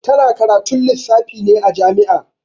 Ta na karatun lissafi ne a jami'a